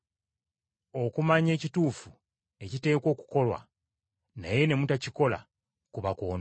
Okumanya ekituufu ekiteekwa okukolwa, naye ne mutakikola, kuba kwonoona.